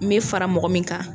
N bɛ fara mɔgɔ min kan